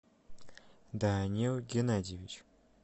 данил геннадьевич